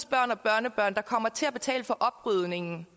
børn og børnebørn der kommer til at betale for oprydningen